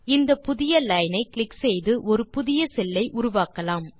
இந்த புதிய லைன் ஐ கிளிக் செய்து ஒரு புதிய செல் ஐ உருவாக்கலாம்